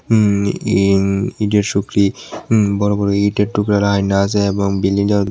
উম ই ইটের সুকলি উম বড় বড় ইটের টুকরা রাইন্দা আসে এবং বিল্ডিং টার --